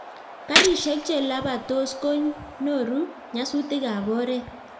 garishek che lapatos ko noru nyasutik ab oret